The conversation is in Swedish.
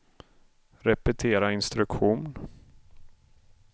repetera instruktion